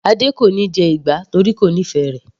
Adé kò níí jẹ ìgbá torí kò nífẹ̀ẹ́ rẹ̀.